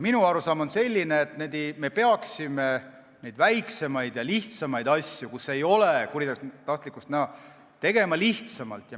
Minu arusaam on selline, et me peaksime väiksemate ja lihtsamate asjadega, kus ei ole kuritahtlikkust näha, tegelema lihtsamalt.